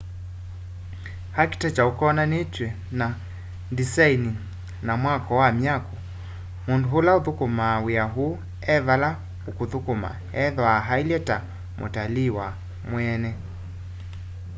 architecture ukonanitw'e na ndisaini na mwako wa myako mundu ula uthukumaa wia uu evala ukuthukuma ethwaa eilye ta mutalii we mweene